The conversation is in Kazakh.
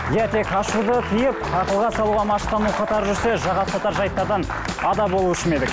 иә тек ашуды тыйып ақылға салуға машықтану қатар жүрсе жаға ұстатар жайттардан ада болушы ма едік